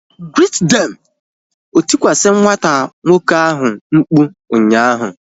Greet them! O tikwasi nwata nwoke ahu mkpu ụnyaahụ